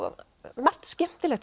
margt skemmtilegt